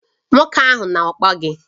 Nwoke ahụ na-akpọ gị